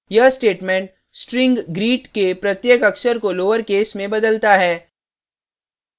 यह statement string greet के प्रत्येक अक्षर को lowercase में बदलता है